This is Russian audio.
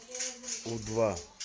у два